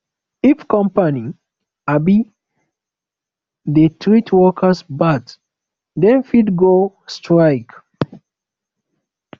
if company um dey treat workers bad dem fit go strike